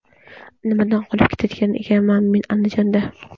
Nimadan qolib ketayotgan ekanman men Andijonda.